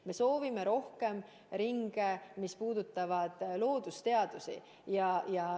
Me soovime rohkem ringe, mis puudutavad loodusteadusi.